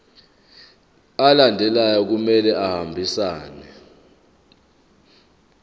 alandelayo kumele ahambisane